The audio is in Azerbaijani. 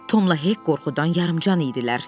Tomla Hek qorxudan yarıcan idilər.